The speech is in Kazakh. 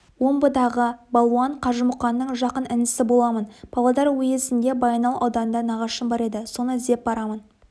омбыдағы балуан қажымұқанның жақын інісі боламын павлодар уезінде баянауыл ауданында нағашым бар еді соны іздеп барамын